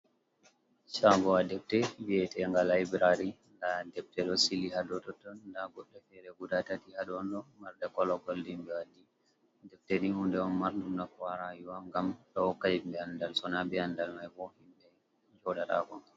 Shagowa defte viete liberary nda defte ɗo sili hado totton da goɗɗe fere guda tati hadodo marde kologol dmbwadi debte din hunde on mardum nafu ha rayuww ngam ɗum ɗo hokka himɓe andal sona be andal mai bo himbe joɗatako.